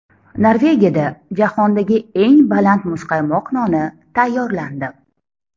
Norvegiyada jahondagi eng baland muzqaymoq noni tayyorlandi.